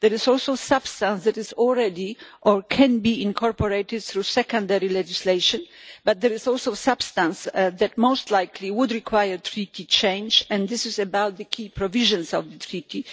There is also substance that is already or can be incorporated through secondary legislation, but there is also substance that most likely would require Treaty change, and this is about the key provisions of the Treaty.